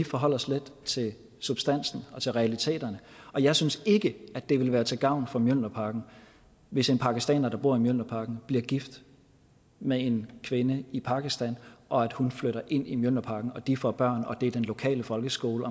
forholde os lidt til substansen og til realiteterne og jeg synes ikke det vil være til gavn for mjølnerparken hvis en pakistaner der bor i mjølnerparken bliver gift med en kvinde i pakistan og at hun flytter ind i mjølnerparken og at de får børn og at det er den lokale folkeskole